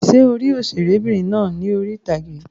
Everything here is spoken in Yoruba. Ṣé o rí òṣèré'bìnrin náà lórí ìtàgé?